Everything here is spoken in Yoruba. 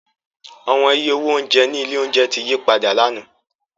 Awọn iye owo ounjẹ ni ile ounjẹ ti yipada làná.